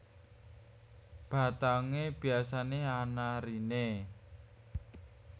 Batangé biasané ana eriné